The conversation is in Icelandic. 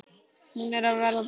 Hún er að verða bráð.